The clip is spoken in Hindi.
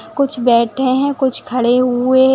कुछ बैठें हैं कुछ खड़े हुए --